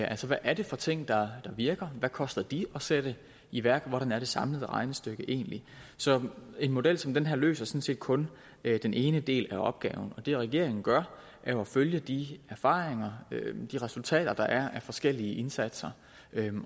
altså hvad er det for ting der virker hvad koster de at sætte i værk hvordan er det samlede regnestykke egentlig så en model som den her løser sådan set kun den ene del af opgaven og det regeringen gør er jo at følge de erfaringer og de resultater der er af forskellige indsatser